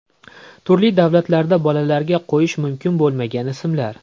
Turli davlatlarda bolalarga qo‘yish mumkin bo‘lmagan ismlar.